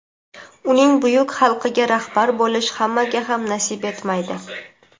uning buyuk xalqiga rahbar bo‘lish hammaga ham nasib etmaydi.